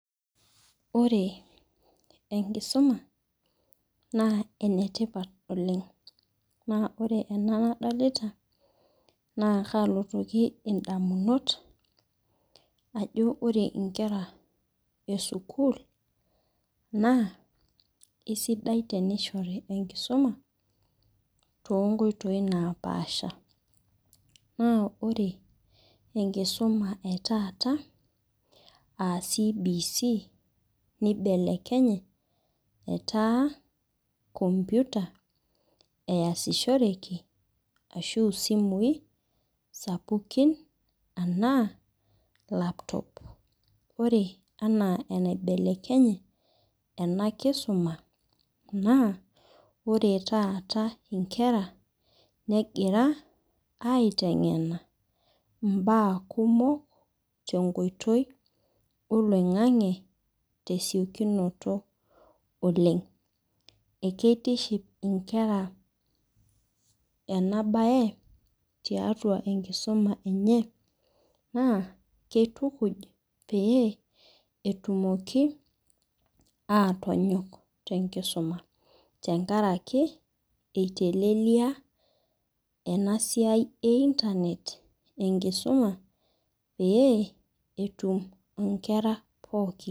Ore enkisuma na enetipat oleng na ore ena nadolta na kalotoki ndamunot ajo ore nkera esukul na esidai tenishori enkisuma tonkoitoi napaaasha na ore enkisuma e taata aa cbc nibelekenye etaa komputa easishoreki ashu simui sapukin anaa laptop ore ena enaibelekenye enakisuma na ore taata nkera negira aitengena mbaa kumok tenkoitoi oloingangi tesiokinoto oleng akeitiship nkera enabae tiatua enkisuma enye nakitukuj petumoki atonyok tenkisuma tenkaraki eitelelia enasia enkisuma pee etum nkera pookin.